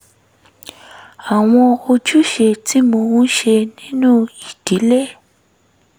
àwọn ojúṣe tí mò ń ṣe nínú ìdílé